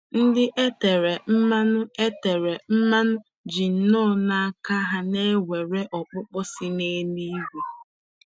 Ndị e tere mmanụ tere mmanụ ji nnọọ n’aka na ha nwere ọkpụkpọ si n'eluigwe.